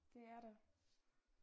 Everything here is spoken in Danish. Det er det